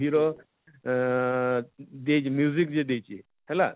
hero ଅଁ ଅଁ ଅଁ ଯେ ଯେ ଦେଇଛେ ହେଲା,